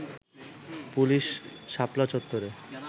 police শাপলা চত্বরে